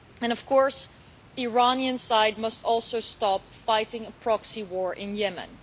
Of course, the Iranian side must also stop fighting a proxy war in Yemen.